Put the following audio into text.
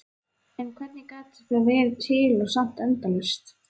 En hvernig gat eitthvað verið til og samt endalaust?